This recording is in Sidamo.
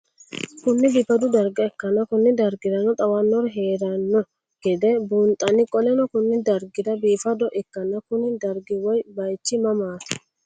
Kuni bifado darga ikana Koni dargirano xawanori heerano geede bunxana qoleno Kuni dargi biifado ikana Kuni dargi woyi bayich mamat?